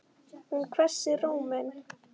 Hún hvessir róminn.